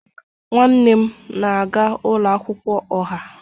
Nwanne m na-aga ụlọ akwụkwọ ọha